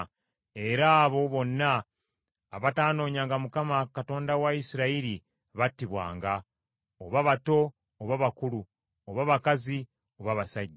Era abo bonna abatanoonyanga Mukama , Katonda wa Isirayiri battibwanga, oba bato oba bakulu, oba bakazi oba basajja.